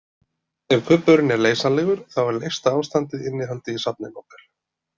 Ef kubburinn er leysanlegur þá er leysta ástandið innihaldið í safninu okkar.